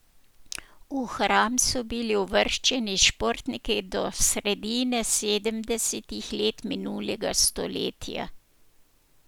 V hram so bili uvrščeni športniki do sredine sedemdesetih let minulega stoletja.